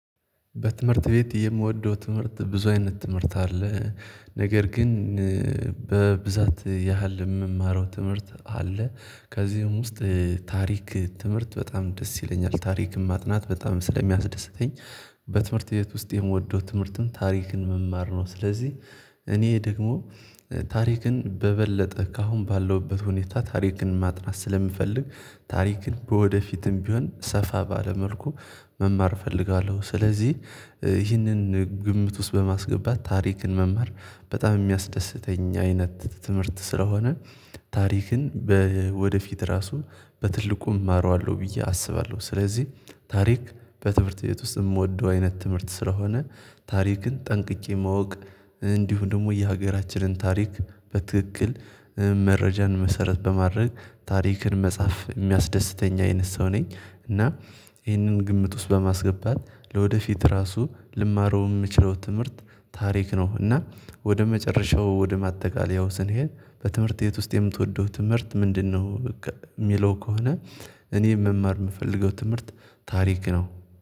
በትምህርት ቤት የምወደው ትምህርት ብዙ አይነት ትምህርት አለ ነገር ግን በብዛት ያህል የምማረው ትምህርት አለ ከዚህም ውስጥ ታሪክ ትምህርት በጣም ደስ ይለኛል ታሪክም ማጥናት በጣም ስለሚያስደስተኝ በትምህርት ቤት ውስጥ የምወደው ትምህርትም ታሪክን መማር ነው። ስለዚህ እኔ ደግሞ ታሪክን በበለጠ ከአሁን ባለውበት ሁኔታ ታሪክን ማጥናት ስለምፈልግ ታሪክን ወደፊትም ቢሆን ሰፋ ባለ መልኩ መማር እፈልጋለሁ። ስለዚህ ይህንን ግምት ውስጥ በማስገባት ታሪክን መማር በጣም የሚያስደስተኝ አይነት ትምህርት ስለሆነ ታሪክን ወደፊት ራሱ በትልቁ እማረዋለሁ ብዬ አስባለሁ። ስለዚህ ታሪክ በትምህርት ቤት ውስጥ የምወደው አይነት ትምህርት ስለሆነ ታሪክን ጠንቅቄ ማወቅ እንዲሁ ደግሞ የሀገራችንን ታሪክ በትክክል መረጃን መሰረት በማድረግ ታሪክን መጻፍ የሚያስደስተኝ አይነት ሰው ነኝ። እና ይህንን ግምት ውስጥ በማስገባት ለወደፊት ራሱ ልማረው የምችለው ትምህርት ታሪክ ነው። እና ወደ መጨረሻው ወደ ማጠቃለያው ስንሄድ በትምህርት የት ውስጥ የምትወደው ትምህርት ምንድነው? የሚለው ከሆነ እኔ መማር የምፈልገው ትምህርት ታሪክ ነው